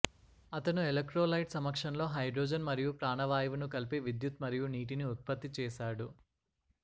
అతను ఎలెక్ట్రోలైట్ సమక్షంలో హైడ్రోజన్ మరియు ప్రాణవాయువును కలిపి విద్యుత్ మరియు నీటిని ఉత్పత్తి చేశాడు